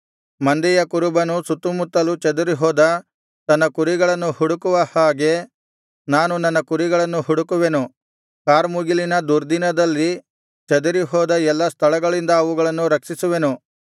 ಮಂದೆಯ ಕುರುಬನು ಸುತ್ತುಮುತ್ತಲು ಚದುರಿ ಹೋದ ತನ್ನ ಕುರಿಗಳನ್ನು ಹುಡುಕುವ ಹಾಗೆ ನಾನು ನನ್ನ ಕುರಿಗಳನ್ನು ಹುಡುಕುವೆನು ಕಾರ್ಮುಗಿಲಿನ ದುರ್ದಿನದಲ್ಲಿ ಚದುರಿಹೋದ ಎಲ್ಲಾ ಸ್ಥಳಗಳಿಂದ ಅವುಗಳನ್ನು ರಕ್ಷಿಸುವೆನು